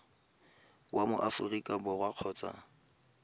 wa mo aforika borwa kgotsa